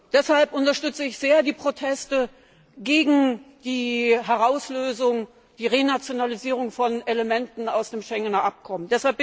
Deshalb unterstütze ich sehr die Proteste gegen die Herauslösung, die Renationalisierung von Elementen aus dem Schengener Abkommen.